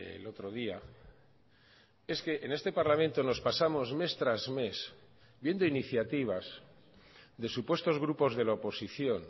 el otro día es que en este parlamento nos pasamos mes tras mes viendo iniciativas de supuestos grupos de la oposición